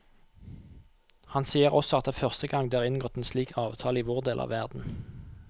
Han sier også at det er første gang det er inngått en slik avtale i vår del av verden.